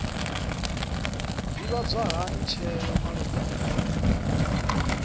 ḓivhadzwa hani tsheo malugana na